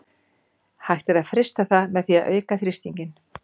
Hægt er að frysta það með því að auka þrýstinginn.